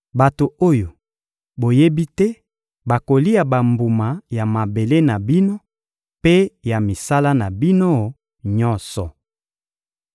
Bato oyo boyebi te bakolia bambuma ya mabele na bino mpe ya misala na bino nyonso.